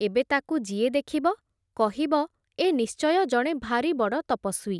ଏବେ ତାକୁ ଯିଏ ଦେଖିବ, କହିବ ଏ ନିଶ୍ଚୟ ଜଣେ ଭାରି ବଡ଼ ତପସ୍ଵୀ ।